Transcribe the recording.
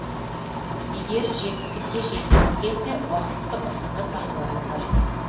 егер жетістікке жеткіміз келсе уақытты ұтымды пайдалану қажет